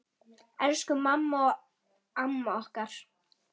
Elsku mamma og amma okkar.